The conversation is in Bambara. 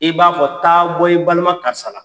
I b'a fɔ taa bɔ i balima karisala.